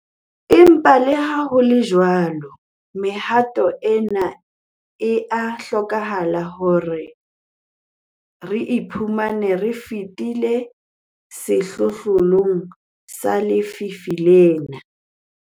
Empa leha ho le jwalo, mehato ena e a hlokeha hore re ipone re fetile sehlohlolong sa lefu lena.